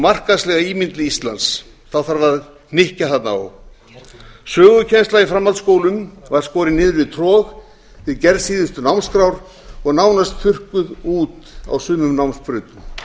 markaðslega ímynd íslands þarf að hnykkja þarna á sögukennsla í framhaldsskólum var skorin niður við trog við gerð síðustu námskrár og nánast þurrkuð út á sumum námsbrautum